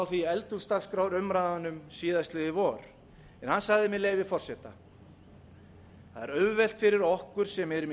því í eldhúsdagskrárumræðunum síðastliðið vor hann sagði með leyfi forseta að er auðvelt fyrir okkur sem erum í